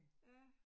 Ja